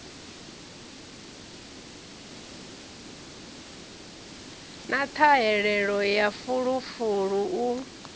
na ṱhahelelo ya fulufulu u